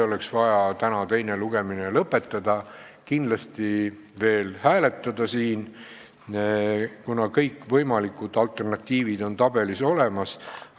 Oleks vaja täna teine lugemine lõpetada ja kindlasti veel hääletada siin, kuna kõikvõimalikud alternatiivid on tabelis olemas.